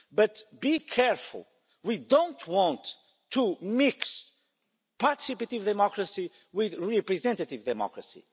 But, be careful we don't want to mix participative democracy with representative democracy.